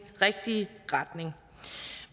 rigtige retning